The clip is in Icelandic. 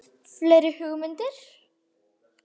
Fleiri hugmyndir?